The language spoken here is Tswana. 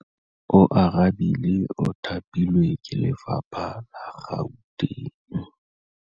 Oarabile o thapilwe ke lephata la Gauteng.